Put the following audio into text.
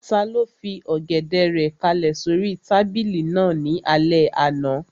Taló fi Ọ̀gẹ̀dẹ̀ rẹ̀ kálẹ̀ sóri tábìlì náà ní alẹ́ àná?